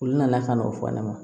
Olu nana ka na o fɔ ne ma